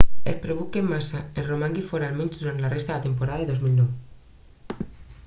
es preveu que massa en romangui fora almenys durant la resta de temporada 2009